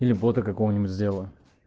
или бота какого-нибудь сделаю